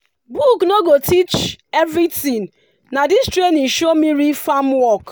book no go teach everything na this training show me real farm work.